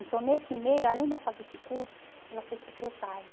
Então, nesse meio, além dela fazer esse curso, ela fez secretária.